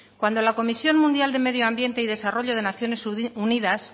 cuando la comisión mundial de medioambiente y desarrollo de naciones unidas